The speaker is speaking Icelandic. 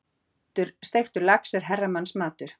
Steiktur lax er herramannsmatur.